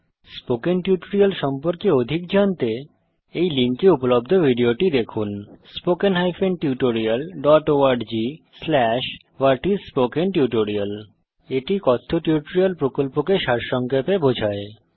spoken tutorial প্রকল্প সম্পর্কে অধিক জানতে এই লিঙ্কে উপলব্ধ ভিডিওটি দেখুন httpspokentutorialorgWhat is a Spoken Tutorial এটি কথ্য টিউটোরিয়াল প্রকল্পকে সারসংক্ষেপে বোঝায়